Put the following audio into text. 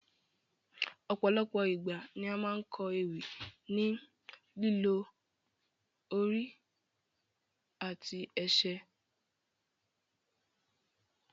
Ọ̀pọ̀lọpọ̀ igba ni a máa n kọ ewì ni lílò ori àti ẹsẹ